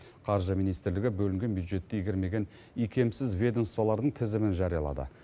қаржы министрлігі бөлінген бюджетті игермеген икемсіз ведомстволардың тізімін жариялады